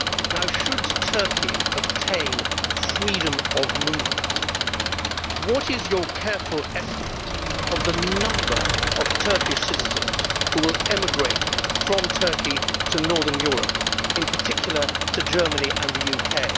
Now, should Turkey obtain freedom of movement, what is your careful estimate of the number of Turkish citizens who will emigrate from Turkey to northern Europe, in particular to Germany and the UK?